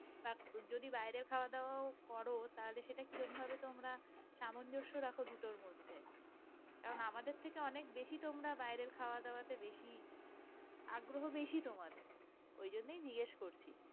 বা যদি বাইরে খাওয়া দাওয়া করো তাহলে সেটা কি রকমভাবে তোমরা সামঞ্জস্য রাখো দুটোর মধ্যে। কারণ আমাদের থেকে অনেক বেশি তোমরা বাইরের খাওয়া দাওয়া টা বেশি আগ্রহ বেশি তোমাদের। ওই জন্যেই জিজ্ঞেস করছি?